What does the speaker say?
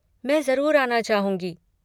मैं ज़रूर आना चाहूँगी।